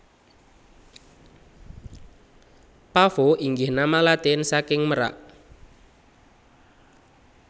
Pavo inggih nama Latin saking merak